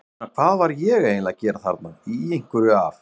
ég meina, hvað var ég eiginlega að gera þarna, í einhverju af